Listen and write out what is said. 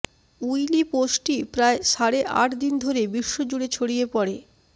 Willy পোস্টটি প্রায় সাড়ে আট দিন ধরে বিশ্বজুড়ে ছড়িয়ে পড়ে